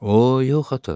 O yox, ata.